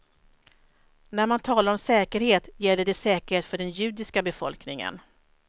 När man talar om säkerhet gäller det säkerhet för den judiska befolkningen.